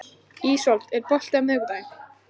Ísold, er bolti á miðvikudaginn?